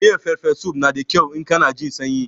Miyan farfesu na da kyau in kana jin sanyi.